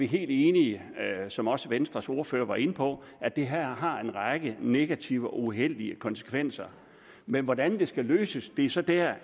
helt enige i som også venstres ordfører var inde på at det her har en række negative og uheldige konsekvenser men hvordan det skal løses er så der